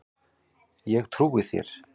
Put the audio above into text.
Ég trúi þér